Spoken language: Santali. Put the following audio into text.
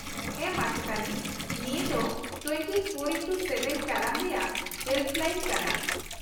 -ᱦᱮᱸ, ᱢᱟᱪᱮᱫᱟᱹᱱᱤ, ᱱᱤᱭᱟᱹ ᱫᱚ ᱒᱔x᱗ ᱴᱟᱲᱟᱝ ᱨᱮᱭᱟᱜ ᱦᱮᱞᱯᱞᱟᱭᱤᱱ ᱠᱟᱱᱟ ᱾